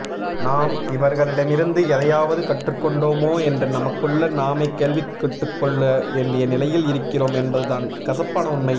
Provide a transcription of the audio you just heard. நாம் இவர்களிடமிருந்து எதையாவது கற்றுக்கொண்டோமா என்று நமக்குள் நாமே கேள்வி கேட்டுக்கொள்ள வேண்டிய நிலையில் இருக்கிறோம் என்பதுதான் கசப்பான உண்மை